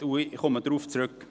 Ich komme darauf zurück.